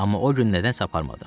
Amma o gün nədənsə aparmadım.